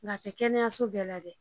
Nka a tɛ kɛnɛyaso bɛɛ la dɛ